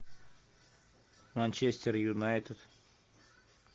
манчестер юнайтед